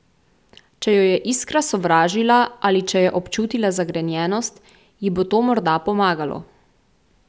Če jo je Iskra sovražila ali če je občutila zagrenjenost, ji bo to morda pomagalo.